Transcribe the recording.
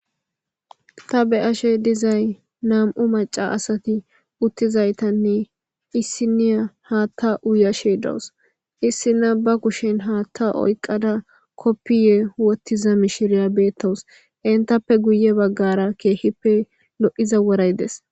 Ta be ashe dizay nam'u maca asati uttizaytanne issiniya haatta uuyashe dawus issina ba kushen haatta oyqqada koppiye wottiza mishiriya beettawus intappe guye baggara keehippe lo'iza woray des